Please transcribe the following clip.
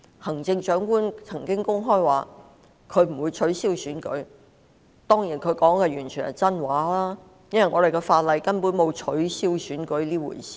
行政長官曾公開表示不會取消區議會選舉，當然她說的完全是真話，因為香港的法例根本沒有取消選舉這回事。